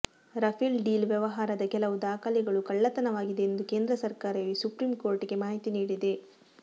Rafale deal ವ್ಯವಹಾರದ ಕೆಲವು ದಾಖಲೆಗಳು ಕಳ್ಳತನವಾಗಿವೆ ಎಂದು ಕೇಂದ್ರ ಸರ್ಕಾರವೇ ಸುಪ್ರೀಂಕೋರ್ಟ್ಗೆ ಮಾಹಿತಿ ನೀಡಿದೆ